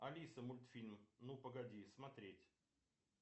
алиса мультфильм ну погоди смотреть